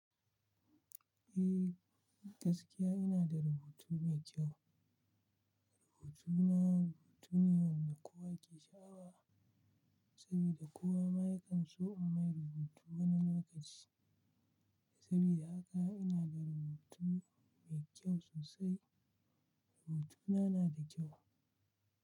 Eh gaskiya ina da rubutu mai kyau. Rubutuna rubutu ne wanda kowa ke sha'awa, saboda kowa ma yakan so in mai rubutu wani lokaci. Saboda haka ina da rubutu mai kyau sosai. Rubutuna na da kyau.